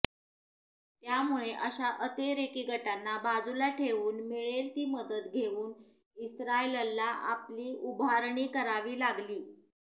त्यामुळे अशा अतिरेकी गटांना बाजूला ठेवून मिळेल ती मदत घेऊन इस्त्रायलला आपली उभारणी करावी लागली